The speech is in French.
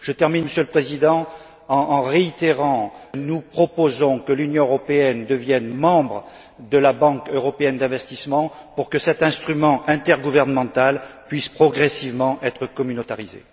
Je terminerai, Monsieur le Président, en rappelant notre proposition que l'Union européenne devienne membre de la Banque européenne d'investissement, pour que cet instrument intergouvernemental puisse progressivement être communautarisé.